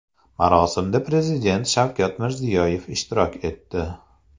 Marosimda Prezident Shavkat Mirziyoyev ishtirok etdi.